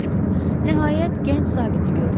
Nəhayət, gənc zabiti gördülər.